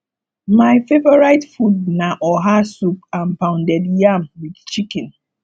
my favorite food na oha soup and pounded yam with chicken